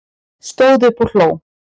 Stóð upp og hló